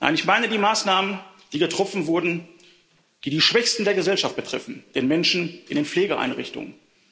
Nein, ich meine die Maßnahmen, die getroffen wurden, die die Schwächsten der Gesellschaft betreffen die Menschen in Pflegeeinrichtungen.